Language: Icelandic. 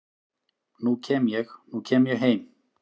nú kem ég, nú kem ég heim